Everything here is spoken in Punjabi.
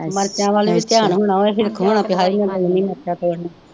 ਮਿਰਚਾਂ ਵੱਲ ਵੀ ਧਿਆਨ ਹੋਣਾ ਹੈ ਮਿਰਚਾਂ ਤੋੜਨ